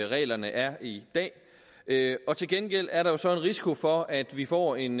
reglerne er i dag og til gengæld er der så en risiko for at vi får en